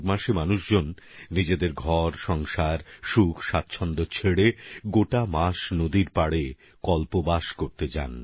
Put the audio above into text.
মাঘের দিনগুলিতে তো অনেক মানুষ নিজের ঘরপরিবার সুখসুবিধে ছেড়ে গোটা মাস নদীর পারে কল্পবাসে যান